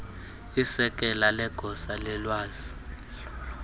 isekela legosa lolwazi